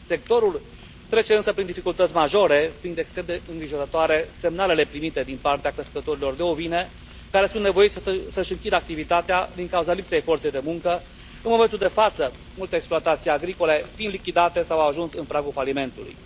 Sectorul trece însă prin dificultăți majore, fiind extrem de îngrijorătoare semnalele primite din partea crescătorilor de ovine, care sunt nevoiți să își închidă activitatea din cauza lipsei forței de muncă, în momentul de față multe exploatații agricole fiind lichidate sau au ajuns în pragul falimentului.